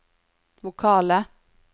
vokale